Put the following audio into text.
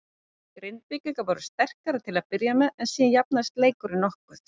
Grindvíkingar voru sterkari til að byrja með en síðan jafnaðist leikurinn mokkuð.